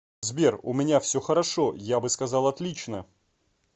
сбер у меня все хорошо я бы сказал отлично